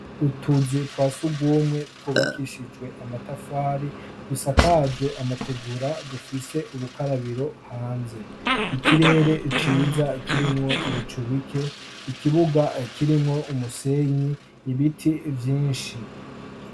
Utuzu twa surwumwe twubakishijwe amatafari; dusakajwe amategura dufise ubukarabiro hanze. Ikirere ciza kirimwo ibicu bike. Ikibuga kirimwo umusenyi, ibiti vyinshi.